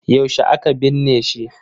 Yaushe aka binne shi?